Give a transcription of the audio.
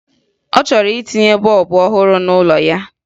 Ọ chọrọ itinye bọọbụ ọhụrụ n'ụlọ ya